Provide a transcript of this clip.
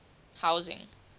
housing